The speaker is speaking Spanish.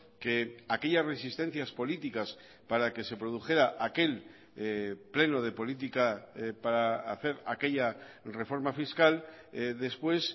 que aquellas resistencias políticas para que se produjera aquel pleno de política para hacer aquella reforma fiscal después